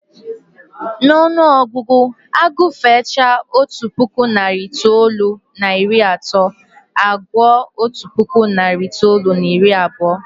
N'ọnụọgụgụ, agụfechaa otu puku, narị itoolu na iri na otu, a gụọ otu puku, narị itoolu na iri na abụọ